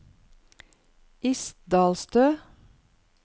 Isdalstø